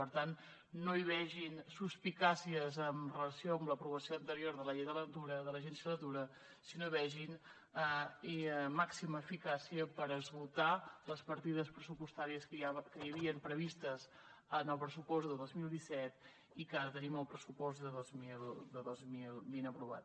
per tant no hi vegin suspicàcies en relació amb l’aprovació anterior de la llei de l’agència de la natura sinó vegin hi màxima eficàcia per esgotar les partides pressupostàries que hi havien previstes en el pressupost de dos mil disset i que ara tenim al pressupost de dos mil vint aprovat